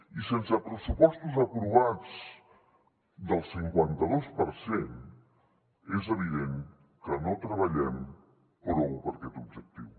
i sense pressupostos aprovats del cinquanta dos per cent és evident que no treballem prou per a aquest objectiu